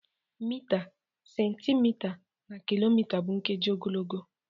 Mita, centimita, na kilomita bụ nkeji ogologo.